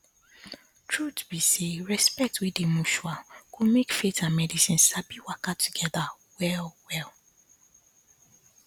truth be say respect wey dey mutual go make faith and medicine sabi waka together wellwell